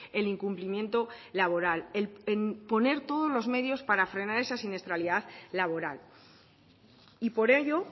el incumplimiento laboral en poner todos los medios en frenar esa siniestralidad laboral y por ello